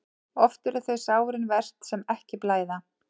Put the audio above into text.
Oft eru þau sárin verst sem ekki blæða.